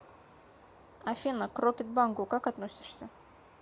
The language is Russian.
афина к рокетбанку как относишься